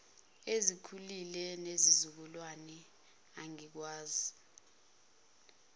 ezikhulile nezizukulwane angikwazi